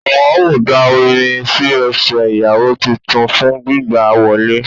Wón á da Omi sí ẹsẹ̀ ìyàwó titun fún gbígbà á wọlé